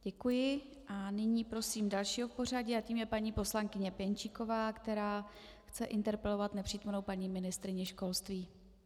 Děkuji a nyní prosím dalšího v pořadí a tím je paní poslankyně Pěnčíková, která chce interpelovat nepřítomnou paní ministryni školství.